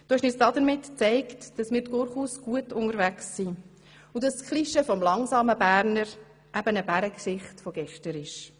Du hast uns damit gezeigt, dass wir durchaus gut unterwegs sind, und dass das Klischee vom langsamen Berner eben eine Bärengeschichte von gestern ist.